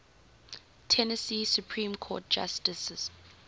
tennessee supreme court justices